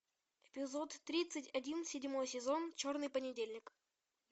эпизод тридцать один седьмой сезон черный понедельник